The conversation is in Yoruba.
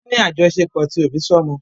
Wọ́n ní àjọṣepọ̀ ti òbí sọ́mọ.